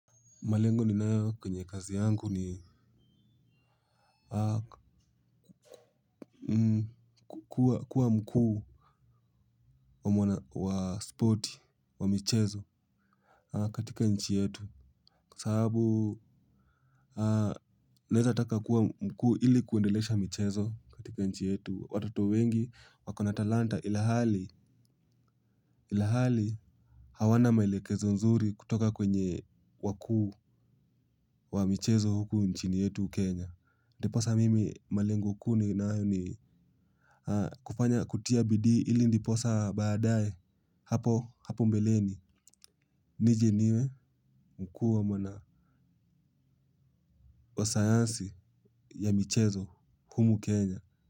Malengo ninayo kwenye kazi yangu ni kuwa mkuu wa spoti, wa michezo katika nchi yetu. Kwa sababu naeza taka kuwa mkuu ili kuendelesha michezo katika nchi yetu. Watoto wengi wakona talanta ilhali hawana mwelekezo nzuri kutoka kwenye wakuu wa michezo huku nchini yetu Kenya. Ndiposa mimi malengo kuu ninayo ni kufanya kutia bidii ili ndiposa baadae hapo mbeleni nije niwe mkuu wa sayansi ya michezo humu Kenya.